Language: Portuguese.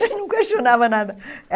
Ele não questionava nada.